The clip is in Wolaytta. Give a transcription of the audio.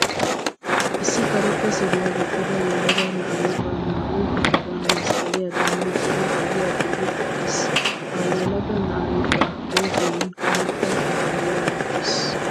Issi karetta suriyaa gixxida yelaga na'ay ba naa'u kusheta masqqaliyaadan miccidi ogiyaa bolli eqqiis. Ha yelaga na'ay ba huuphiyan karetta koppiyiyaa wottiis.